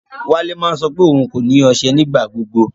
Wálẹ̀ máa ń sọ pé ọún kò ní oṣẹ́ nígbàgbọ̀gbọ̀.